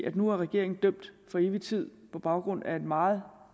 at nu er regeringen dømt for evig tid på baggrund af et meget